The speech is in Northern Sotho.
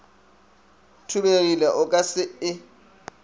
thubegile o ka se e